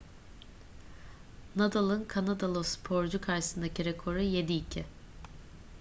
nadal'ın kanadalı sporcu karşısındaki rekoru 7-2